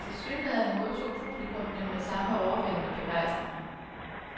Tilsyneladende modtog publikum dem med samme overvældende begejstring.